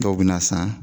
Dɔw bɛ na san